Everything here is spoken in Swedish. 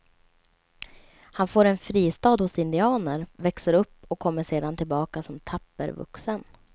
Han får en fristad hos indianer, växer upp och kommer sedan tillbaka som tapper vuxen.